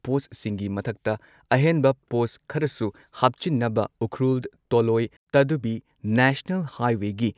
ꯄꯣꯁꯠꯁꯤꯡꯒꯤ ꯃꯊꯛꯇ ꯑꯍꯦꯟꯕ ꯄꯣꯁꯠ ꯈꯔꯁꯨ ꯍꯥꯞꯆꯤꯟꯅꯕ, ꯎꯈ꯭ꯔꯨꯜ ꯇꯣꯜꯂꯣꯏ ꯇꯥꯗꯨꯕꯤ ꯅꯦꯁꯅꯦꯜ ꯍꯥꯢꯋꯦꯒꯤ